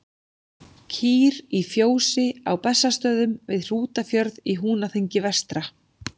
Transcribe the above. Kýr í fjósi á Bessastöðum við Hrútafjörð í Húnaþingi vestra.